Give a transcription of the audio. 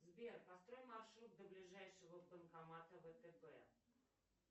сбер построй маршрут до ближайшего банкомата втб